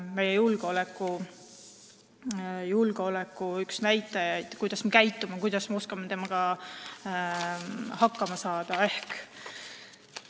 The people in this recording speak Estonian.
See, kuidas me sõidukiga käitume ja oskame sellega hakkama saada, on meie julgeoleku üks näitajaid.